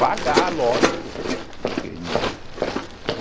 Pagar, lógico. Que